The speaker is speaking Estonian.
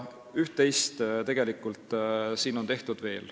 Üht-teist on veel tehtud.